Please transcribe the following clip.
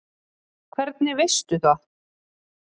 Hvernig veistu það?